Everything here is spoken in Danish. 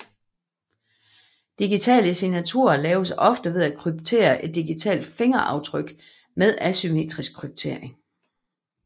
Digitale signaturer laves ofte ved at kryptere et digitalt fingeraftryk med asymmetrisk kryptering